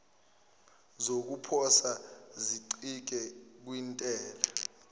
zokuposa zincike kwintela